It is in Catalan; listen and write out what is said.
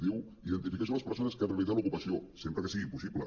diu identificació de les persones que han realitzat l’ocupació sempre que sigui possible